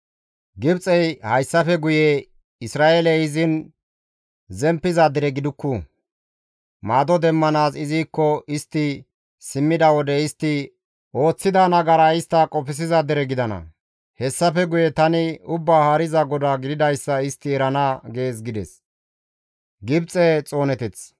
Gibxey hayssafe guye Isra7eeley izin zemppiza dere gidukku; maado demmanaas izikko istti simmida wode istti ooththida nagaraa istti qofsiza dere gidana; hessafe guye tani Ubbaa Haariza GODAA gididayssa istti erana› gees» gides.